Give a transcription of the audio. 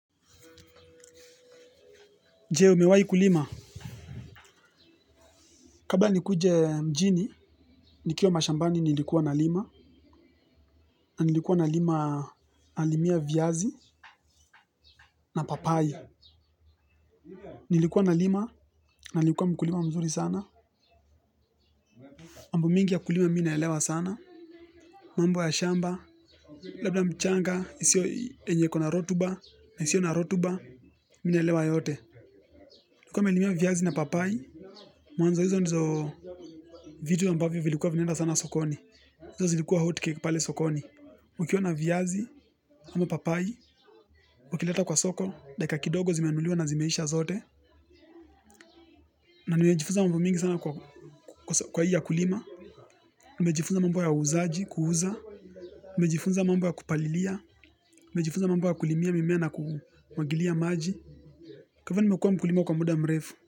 Jee, umewai kulima. Kabla nikuje mjini, nikiwa mashambani nilikuwa nalima. Na nilikuwa nalima, nalimia viazi na papai. Nilikuwa nalima, na nlikuwa mkulima mzuri sana. Mambo mingi ya kulima mi naelewa sana. Mambo ya shamba, labda mchanga, isiyo yenye iko na rotuba, na isio na rotuba, mi naelewa yote. Nlikuwa nimelimia viazi na papai. Mwanzo hizo ndizo vitu ambavyo vilikuwa vinaenda sana sokoni. Hizo zilikuwa hot cake pale sokoni. Ukiona viazi, ama papai ukileta kwa soko, dakika kidogo zimenunuliwa na zimeisha zote. Na nimejifunza mambo mingi sana kwa ajili ya kulima. Nimejifunza mambo ya uuzaji, kuuza. Nimejifunza mambo ya kupalilia. Nimejifunza mambo ya kulimia, mimea na kumwagilia maji. Kwa hivyo nimekuwa mkulima kwa muda mrefu.